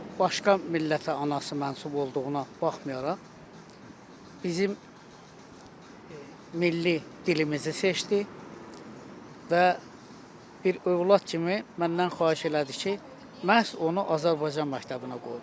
Başqa millətə anası mənsub olduğuna baxmayaraq bizim milli dilimizi seçdi və bir övlad kimi məndən xahiş elədi ki, məhz onu Azərbaycan məktəbinə qoyum.